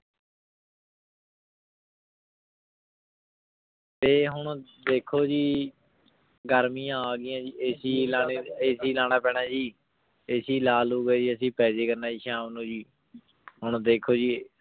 ਤੇ ਹੁਣ ਦੇਖੋ ਜੀ ਗਰ੍ਮਿਯਾਂ ਅਗੈਯਾਂ ਜੀ AC ਲਾਨਾ ਪੀਨਾ ਜੀ AC ਲਾ ਲੂ ਕੇ ਜੀ ਅਸੀਂ ਪੀ ਜਯਾ ਕਰਨਾ ਜੀ ਸਹਮ ਨੂ ਜੀ ਹੁਣ ਦੇਖੋ ਜੀ